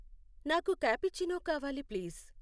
నాకు కాపుచినో కావాలి ప్లీజ్